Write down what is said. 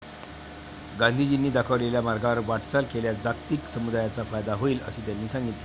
गांधीजींनी दाखवलेल्या मार्गावर वाटचाल केल्यास जागतिक समुदायाचा फायदा होईल, असे त्यांनी सांगितले.